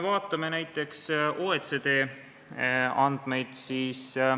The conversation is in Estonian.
Vaatame näiteks OECD andmeid.